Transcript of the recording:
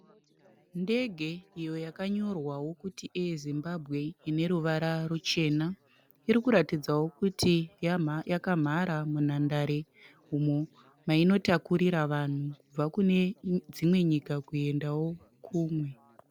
Ndege iyo yakanyorwawo kuti "Air Zimbabwe" ine ruvara ruchena. Iri kuratidzawo kuti yakamhara munhandare umo mainotakurira vanhu kubva kune dzimwe nyika kuendawo kumwe.